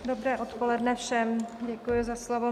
Dobré odpoledne všem, děkuji za slovo.